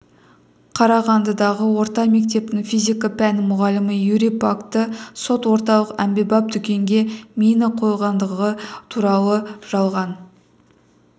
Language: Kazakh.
қарағандыдағы орта мектептің физика пәні мұғалімі юрий пакті сот орталық әмбебап дүкенге мина қойылғандығы турады жалған